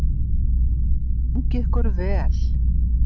Gangi ykkur vel!